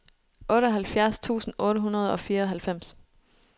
otteoghalvfjerds tusind otte hundrede og fireoghalvfems